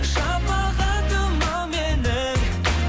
шапағатым ау менің